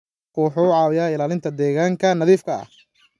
Kalluunku wuxuu caawiyaa ilaalinta deegaanka nadiifka ah.